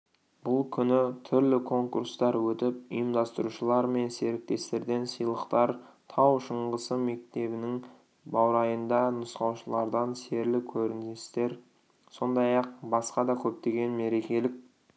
бұл күні түрлі конкурстар өтіп ұйымдастырушылар мен серіктестерден сыйлықтар тау шаңғысы мектебінің баурайында нұсқаушылардан серлі көріністер сондай-ақ басқа да көптеген мерекелік